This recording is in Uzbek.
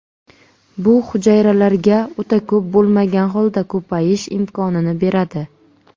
Bu hujayralarga o‘ta ko‘p bo‘lmagan holda ko‘payish imkonini beradi”.